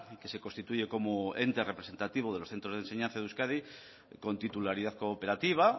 que se constituye como ente representativo de los centros de enseñanza de euskadi con titularidad cooperativa